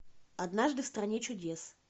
однажды в стране чудес